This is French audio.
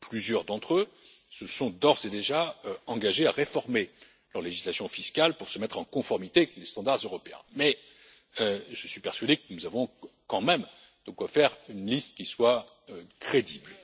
Plusieurs d'entre eux se sont d'ores et déjà engagés à réformer leur législation fiscale pour se mettre en conformité avec les normes européennes, mais je suis persuadé que nous avons quand même de quoi faire une liste qui soit crédible.